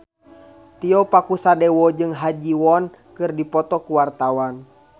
Tio Pakusadewo jeung Ha Ji Won keur dipoto ku wartawan